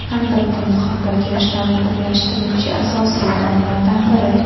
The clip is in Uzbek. Albatta, muhabbat yoshlarni birlashtiruvchi asosiy omillardan biri.